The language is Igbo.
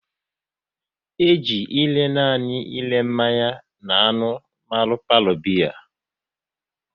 E ji ere nanị ere mmanya n'anụ mara palo biya